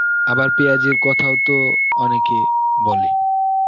আবার পিয়াজের কথাওতো অনেকে বলে.